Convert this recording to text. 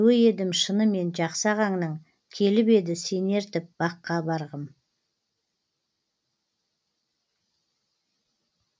біреуі едім шынымен жақсы ағаңның келіп еді сені ертіп баққа барғым